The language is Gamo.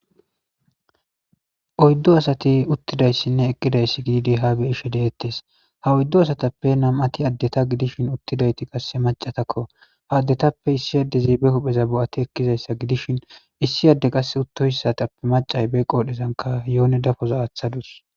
oyddu asati uttidayssinne eqqidayssi giidi ha be ishe deettes ha oyddo asatappe nam7ati addeta gidishin uttidayti qasse macatakko ha addetappe issi addeziibe hupheza bo7ati ekkizayssa gidishin issi adde qasse uttohssatappe macay be qoodhezanka yoone dafoza aaththadus